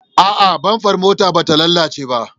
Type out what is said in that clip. A'a, bamfar motar bata lalace ba.